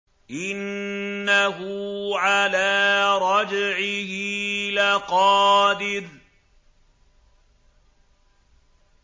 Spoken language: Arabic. إِنَّهُ عَلَىٰ رَجْعِهِ لَقَادِرٌ